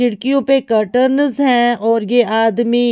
खिड़कियों पर कर्टनस हैऔर ये आदमी--